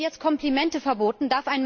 Werden jetzt Komplimente verboten?